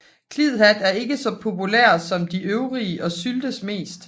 Klidhat er ikke så populær som de øvrige og syltes mest